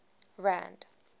rand